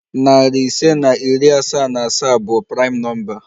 Nari ise na iri asaa na asaa bụ praịm nọmba.